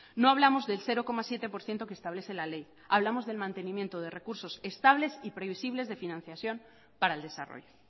no hablamos del cero coma siete por ciento que establece la ley hablamos del mantenimiento de recursos estables y previsibles de financiación para el desarrollo